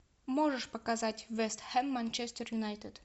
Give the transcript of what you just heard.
можешь показать вест хэм манчестер юнайтед